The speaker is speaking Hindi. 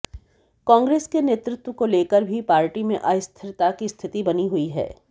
कांग्रेस के नेतृत्व को लेकर भी पार्टी में अस्थिरता की स्थिति बनी हुई है